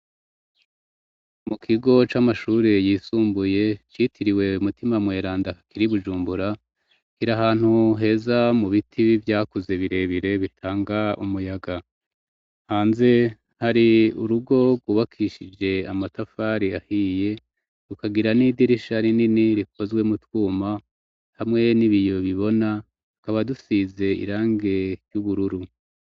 Mu kigo c'amashuri yisumbuye citiriwe Mutima Mweranda kiri Bujumbura, kiri ahantu heza mu biti vyakuze birebire bitanga umuyaga, hanze hari urugo gwubakishije amatafari ahiye, rukagira n'idirisha rinini rikozwe mu twuma hamwe n'ibiyo bibona, tukaba dusize irangi ry'ubururu.